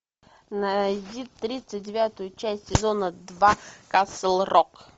найди тридцать девятую часть сезона два касл рок